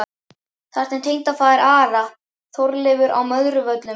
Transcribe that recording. Þarna var tengdafaðir Ara, Þorleifur á Möðruvöllum.